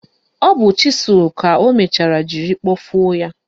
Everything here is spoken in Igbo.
Ọ bụ chịsụl ka o mechara jiri kpọfuo ya.